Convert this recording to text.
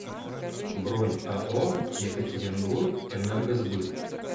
бронь ао екатеринбургэнергосбыт